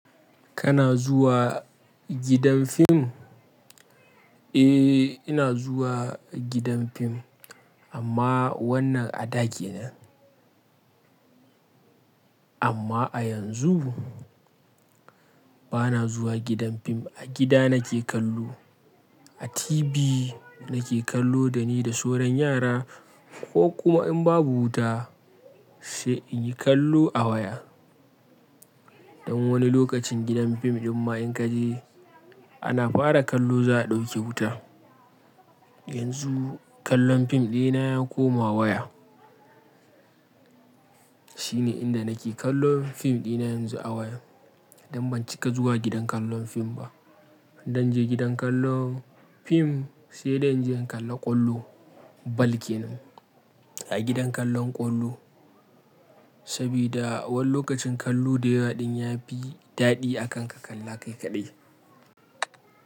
Kana zuwa gidan fim? Eh, ina zuwa gidan fim, amma wannan a daki na. Amma a yanzu bana zuwa gidan fim. A gida nake kallo. A TV nake kallo da ni da sauran yara ko kuma in babu wuta, sai in yi kallo a waya. Don wani lokacin gidan fim ɗin ma in ka je, ana fara kallo za a ɗauke wuta. Yanzu kallon fim ɗina ya koma waya. Shine inda nake kallon fim ɗina yanzu a waya don ban cika zuwa gidan kallon fim ba. In zan je gidan kallon fim, sai da in je in kalla ƙwallo. Ball kenan a gidan kallon ƙwallo, sabida wani lokacin kallon dayawa ɗin ya fi daɗi akan ka kalla kai kaɗai.